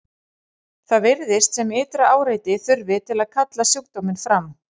Það virðist sem ytra áreiti þurfi til að kalla sjúkdóminn fram.